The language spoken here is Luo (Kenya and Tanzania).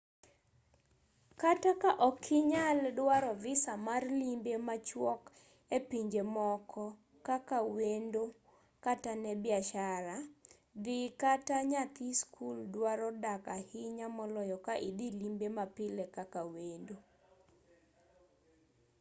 kata ka ok inyal dwaro visa mar limbe machuok e pinje moko kaka wendo kata ne biashara dhi kaka nyathi skul dwaro dak ahinya moloyo ka idhi limbe mapile kaka wendo